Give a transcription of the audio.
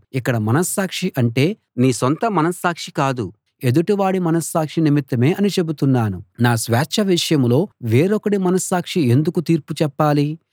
ఇక్కడ మనస్సాక్షి అంటే నీ సొంత మనస్సాక్షి కాదు ఎదుటివాడి మనస్సాక్షి నిమిత్తమే అని చెబుతున్నాను నా స్వేచ్ఛ విషయంలో వేరొకడి మనస్సాక్షి ఎందుకు తీర్పు చెప్పాలి